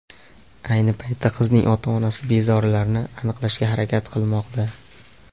Ayni paytda qizning ota-onasi bezorilarni aniqlashga harakat qilmoqda.